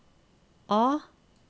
A